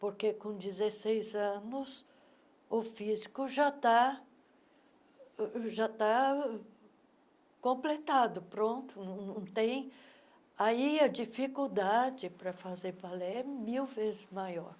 Porque, com dezeseis anos, o físico já está uh já está uh completado, pronto, não não tem... Aí a dificuldade para fazer ballet é mil vezes maior.